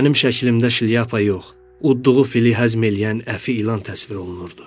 Mənim şəklimdə şlyapa yox, uddluğu fili həzm eləyən əfi ilan təsvir olunurdu.